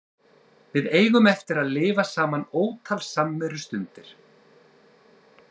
Við eigum eftir að lifa saman ótal samverustundir.